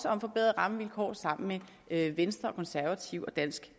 om forbedrede rammevilkår sammen med venstre konservative og dansk